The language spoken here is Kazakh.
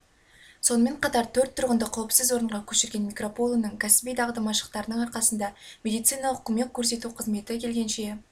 сонымен қатар төрт тұрғынды қауіпсіз орынға көшірген микропулоның кәсіби дағды-машықтарының арқасында медициналық көмек көрсету қызметі келгенше